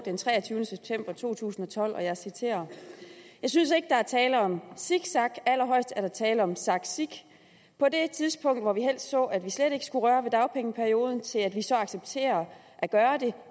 den treogtyvende september to tusind og tolv og jeg citerer jeg synes ikke der er tale om zigzag allerhøjest er der tale om zagzig på det tidspunkt hvor vi helst så at vi slet ikke skulle røre ved dagpengeperideon til at vi accepterer at gøre det